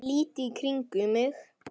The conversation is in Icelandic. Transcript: Lít í kringum mig.